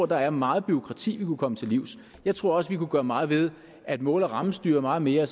der er meget bureaukrati vi kunne komme til livs jeg tror også at vi kunne gøre meget ved at mål og rammestyre meget mere